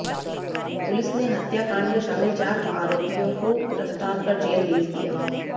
police ने हत्याकांड में शामिल चार आरोपियों को गिरफ्तार कर जेल भेज दिया